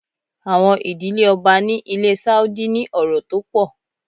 Àwọn ìdílé Ọba ni ilé Sáúdí ní ọrọ̀ tó pọ̀.